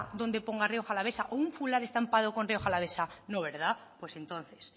donde ponga rioja alavesa o un fular estampado con rioja alavesa no verdad pues entonces